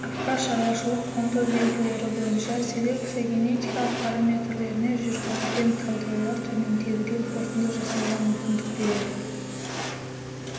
арпаның шаруашылық-құнды белгілері бойынша селекция-генетикалық параметрлеріне жүргізілген талдаулар төмендегідей қорытынды жасауға мүмкіндік береді